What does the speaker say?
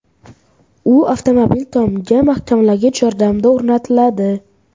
U avtomobil tomiga mahkamlagich yordamida o‘rnatiladi.